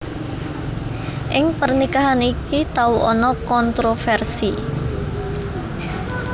Ing pernikahan iki tau ana kontrofersi